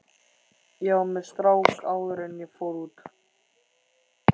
Ég var með strák áður en ég fór út.